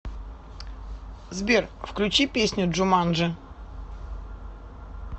сбер включи песню джуманджи